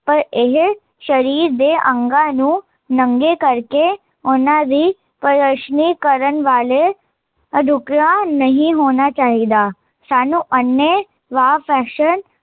ਪਰ ਇਹ, ਸ਼ਰੀਰ ਦੇ ਅੰਗਾਂ ਨੂੰ, ਨੰਗੇ ਕਰਕੇ, ਉਹਨਾਂ ਦੀ ਪ੍ਰਦਰਸ਼ਨੀ ਕਰਨ ਵਾਲੇ ਨਹੀਂ ਹੋਣਾ ਚਾਹੀਦਾ ਸਾਨੂੰ ਅੰਨੇ, ਵਾਹ ਫੈਸ਼ਨ